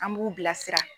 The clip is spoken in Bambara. An b'u bilasira